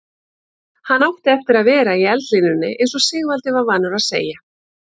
Hann átti eftir að vera í eldlínunni eins og Sigvaldi var vanur að segja.